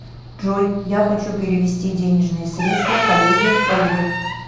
джой я хочу перевести денежные средства коллеге ольге